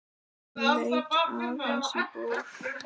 Ég leit aðeins í bók.